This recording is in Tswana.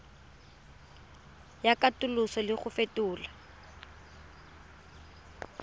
ya katoloso le go fetola